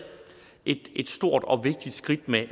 et stort og vigtigt skridt med